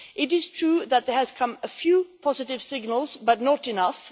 It is true that there have been a few positive signals, but not enough.